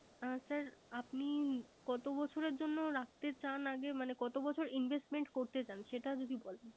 হ্যা স্যা আপনি কত বছরের জন্য রাখতে চান আগে কত বছর Investment করতে চান